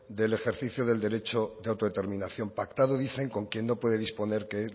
del ejercicio del derecho de autodeterminación pactado dicen con quien no puede disponer de